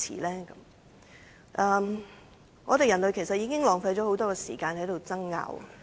其實，人類浪費了許多時間在爭拗上。